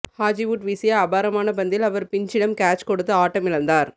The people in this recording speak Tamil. ஹாஜிவுட் வீசிய அபாரமான பந்தில் அவர் பின்ச்சிடம் கேட்ச் கொடுத்து ஆட்டமிழந்தார்